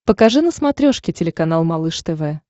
покажи на смотрешке телеканал малыш тв